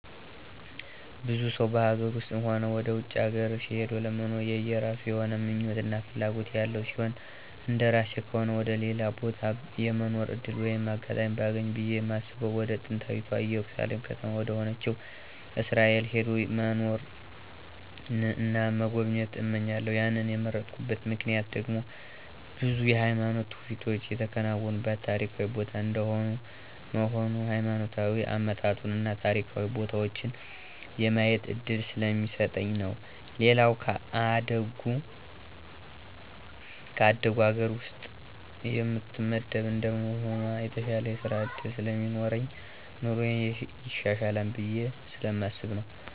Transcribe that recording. ብዙ ሰው በሀገር ውስጥም ሆነ ወደ ውጭ ሀገር ሂዶ ለመኖር የየራሱ የሆነ ምኞት እና ፍላጎት ያለው ሲሆን እንደራሴ ከሆነ ወደ ሌላ ቦታ የመኖር ዕድል ወይም አጋጣሚውን ባገኝ ብየ ማስበው ወደ ጥንታዊታ እየሩሳሌም ከተማ ወደሆነችው እስራኤል ሄዶ መኖርን እና መጎብኘት እመኛለሁ ያንን የመረጥኩበት ምክንያት ደግሞ ብዙ የሃይማኖት ትውፊቶች የተከናወኑበት ታሪካዊ ቦታ እንደመሆኑ ሀይማኖታዊ አመጣጡን እና ታሪካዊ ቦታዎችን የማየት እድል ስለሚሰጠኝ ነው። ሌላው ከአደጉ ሀገር ውስጥ የምትመደብ እንደመሆኗ የተሻለ የስራ ዕድልም ስለሚኖረኝ ኑሮየም ይሻሻላል ብየ ስለማስብ ነው።